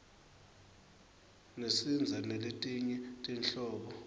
nesnz naletinye tinhlobo